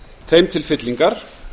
þeim til fyllingar